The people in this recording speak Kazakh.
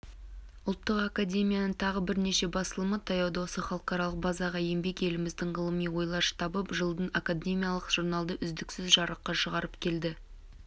ұлттық академияның тағы бірнеше басылымы таяуда осы халықаралық базаға енбек еліміздің ғылыми ойлар штабы жылдан академиялық журналды үздіксіз жарыққа шығарып келеді